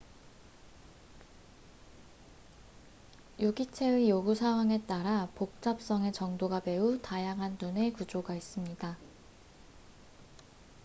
유기체의 요구 사항에 따라 복잡성의 정도가 매우 다양한 눈의 구조가 있습니다